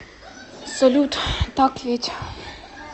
салют так ведь